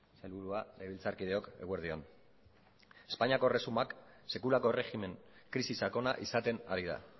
sailburua legebiltzarkideok eguerdi on espainiako erresuma sekulako erregimen krisi sakona izaten ari da